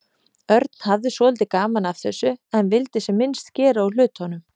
Örn hafði svolítið gaman af þessu en vildi sem minnst gera úr hlutunum.